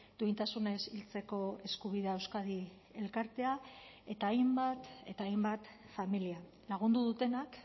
duintasunez hiltzeko eskubidea euskadi elkartea eta hainbat eta hainbat familia lagundu dutenak